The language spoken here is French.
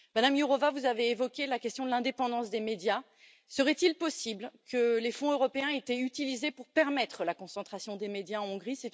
Madame Jourová, vous avez évoqué la question de l'indépendance des médias. Serait il possible que les fonds européens aient été utilisés pour permettre la concentration des médias en Hongrie?